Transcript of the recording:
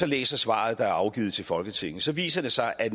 læser svaret der er afgivet til folketinget så viser det sig at